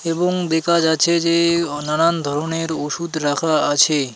এবং দেখা যাচ্ছে যে-এ-এ নানান ধরনের ওষুধ রাখা আছে.